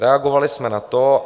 Reagovali jsme na to.